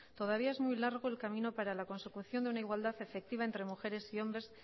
todavía es muy largo el camino para la consecución de una igualdad efectiva entre mujeres y hombres